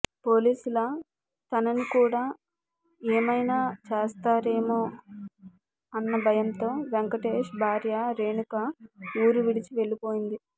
పోలీసుల తనని కూడా ఏమైనా చేస్తారేమో అన్న భయంతో వెంకటేష్ భార్య రేణుక ఊరు విడిచి వెళ్ళిపోయింది